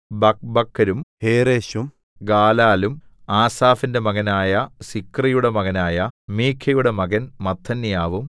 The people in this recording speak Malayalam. ബക്ബക്കരും ഹേറെശും ഗാലാലും ആസാഫിന്റെ മകനായ സിക്രിയുടെ മകനായ മീഖയുടെ മകൻ മത്ഥന്യാവും